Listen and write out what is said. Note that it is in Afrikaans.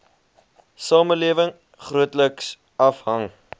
samelewing grootliks afhang